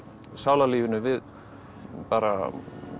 sálarlífinu við bara